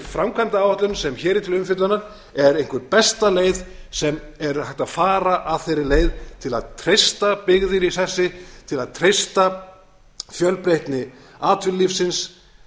framkvæmdaáætlun sem hér er til umfjöllunar er einhver besta leið sem er hægt að fara af þeirri leið til að treysta byggðir í sessi til að treysta fjölbreytni atvinnulífsins